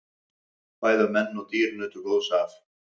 Bæði menn og dýr nutu góðs af.